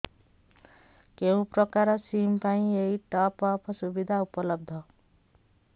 କେଉଁ ପ୍ରକାର ସିମ୍ ପାଇଁ ଏଇ ଟପ୍ଅପ୍ ସୁବିଧା ଉପଲବ୍ଧ